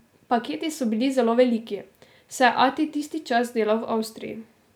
Paketi so bili zelo veliki, saj je ati tisti čas delal v Avstriji.